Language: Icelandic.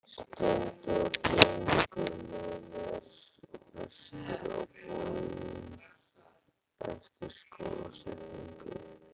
Steindór gengur með mér vestur á bóginn eftir skólasetningu.